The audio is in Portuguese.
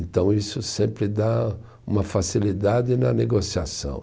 Então isso sempre dá uma facilidade na negociação.